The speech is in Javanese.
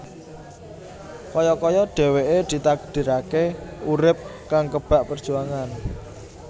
Kaya kaya dhèwèké ditakdiraké urip kang kebak perjuangan